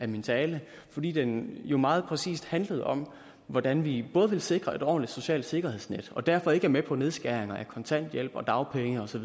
min tale fordi den jo meget præcis handlede om hvordan vi vil sikre et ordentligt socialt sikkerhedsnet og derfor ikke er med på nedskæringer af kontanthjælp og dagpenge osv